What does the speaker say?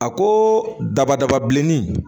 A ko dabadaba bilenni